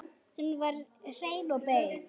Hún var hrein og bein.